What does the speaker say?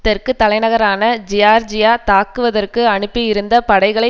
தெற்கு தலைநகரான ஜியார்ஜியா தாக்குவதற்கு அனுப்பியிருந்த படைகளை